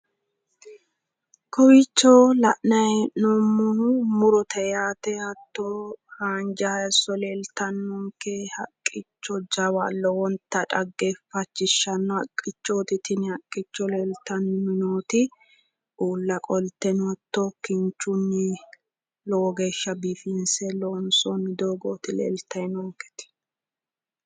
Kowiicho la'nayi he'noomohu murote yaate hatto haanja hayisso leeltannonke haqqicho jawa lowonta dhageefachishawo haqichoot tin leeltanni noot uula qolteno hattono kinchunni lowo geeshasha biifinse loonsoyi dogooti leltayi nooniketi